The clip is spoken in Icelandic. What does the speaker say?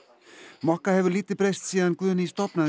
mokka hefur lítið breyst síðan Guðný stofnaði